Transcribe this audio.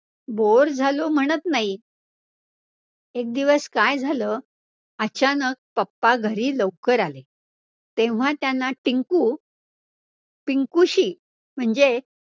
bore झालो म्हणत नाही. एक दिवस काय झालं, अचानक papa लवकर घरी आले, तेव्हा त्यांना टिंकु पिंकुशी म्हणजे